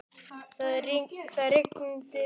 Það rigndi vikum saman.